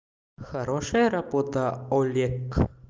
хорошая работа олег